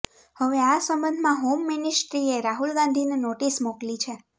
હવે આ સંબંધમાં હોમ મિનિસ્ટ્રીએ રાહુલ ગાંધીને નોટિસ મોકલી છે